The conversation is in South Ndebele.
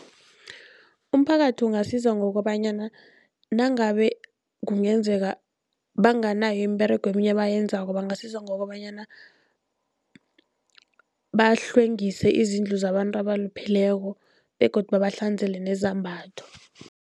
Umphakathi ungasiza ngokobanyana nangabe kungenzeka banganayo imiberego eminye abayenzako, bangasiza ngokobanyana bahlwengise izindlu zabantu abalupheleko begodu babahlanzele nezambatho.